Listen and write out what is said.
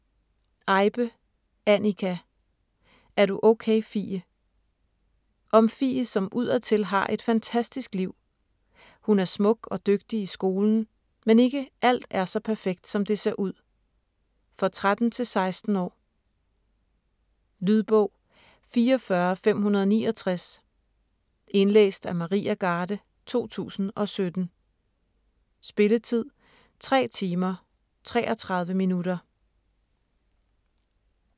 Eibe, Anika: Er du okay, Fie? Om Fie, som udadtil har et fantastisk liv. Hun er smuk og dygtig i skolen, men ikke alt er så perfekt som det ser ud. For 13-16 år. Lydbog 44569 Indlæst af Maria Garde, 2017. Spilletid: 3 timer, 33 minutter.